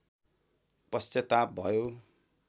पश्चाताप भयो